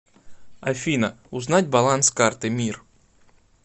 афина узнать баланс карты мир